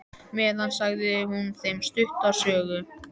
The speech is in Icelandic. meðan sagði hún þeim stutta sögu.